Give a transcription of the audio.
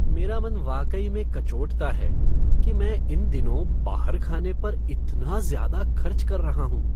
मेरा मन वाकई में कचोटता है कि मैं इन दिनों बाहर खाने पर इतना ज्यादा खर्च कर रहा हूँ।